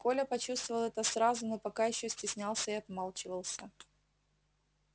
коля почувствовал это сразу но пока ещё стеснялся и отмалчивался